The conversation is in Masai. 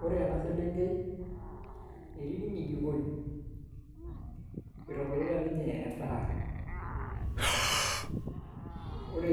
Wore ena selenkei, etii ninye jikoni. Itobirita ninye endaah. Wore